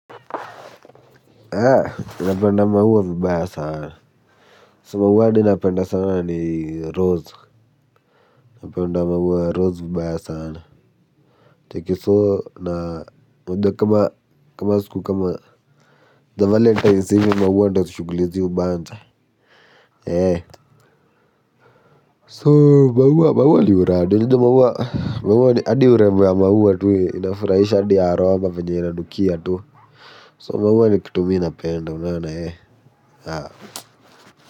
Napenda maua vibaya sana So maua ninapenda sana ni rose napenda maua ya rose vibaya sana Take it so na unajua kama kama siku kama za valentine hizi maua ndo shughuli si ubanja So maua maua ndio rada unajua maua hadi urembo ya maua tu inafurahisha hadi aroma venye inanukia tu So maua ndo kitu mi napenda penda unaona.